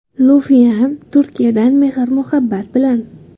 Lufian Turkiyadan mehr-muhabbat bilan.